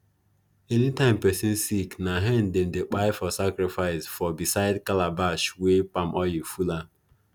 anytime person sick na hen them dey kpai for sacrifice for beside calabash wey palm oil full am